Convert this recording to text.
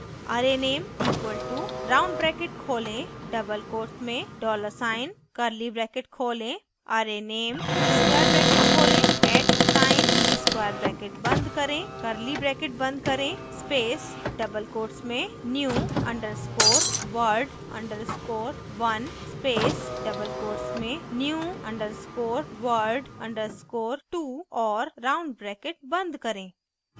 arrayname equal to round bracket खोलें double quote में dollar sign $ curly bracket खोलें arrayname square bracket खोलें at sign @ square bracket बंद करें curly bracket बंद करें